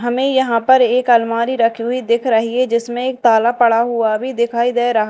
हमें यहां पर एक अलमारी रखी हुई दिख रही है जिसमें एक ताला पड़ा हुआ भी दिखाई दे रहा--